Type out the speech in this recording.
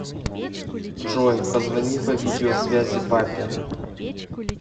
джой позвони по видео связи папе